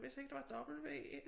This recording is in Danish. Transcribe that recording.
Jeg vidste ikke der var et w